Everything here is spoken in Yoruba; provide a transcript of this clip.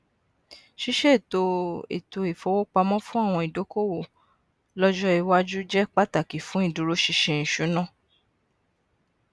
ṣíṣètò ètò ifowópamọ fún àwọn ìdókòwò lọjọ iwaju jẹ pàtàkì fún ìdúróṣinṣin ìṣúná